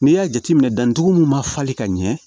N'i y'a jateminɛ dantugu min ma falen ka ɲɛ